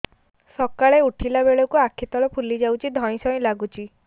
ସକାଳେ ଉଠିଲା ବେଳକୁ ଆଖି ତଳ ଫୁଲି ଯାଉଛି ଧଇଁ ସଇଁ ଲାଗୁଚି